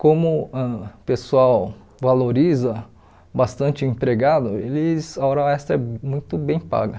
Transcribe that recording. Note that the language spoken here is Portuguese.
Como ãh o pessoal valoriza bastante o empregado, eles a hora extra é muito bem paga.